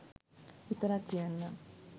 විතරක් කියන්නම්.